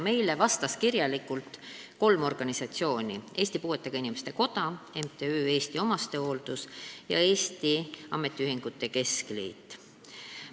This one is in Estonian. Meile vastasid kirjalikult kolm organisatsiooni: Eesti Puuetega Inimeste Koda, MTÜ Eesti Omastehooldus ja Eesti Ametiühingute Keskliit.